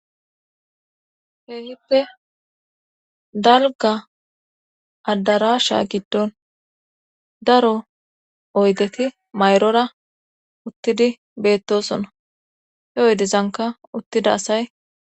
Keehippe dalga addarasha giddon daro oygeti mayrora uttidi beettosona he oydezanka uttida asay.